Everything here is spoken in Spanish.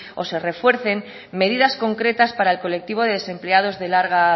o se refuercen medidas completas para el colectivo de desempleados de larga